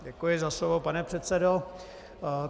Děkuji za slovo, pane předsedo.